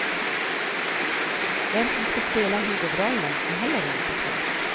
Vem som ska spela huvudrollen är heller inte klart.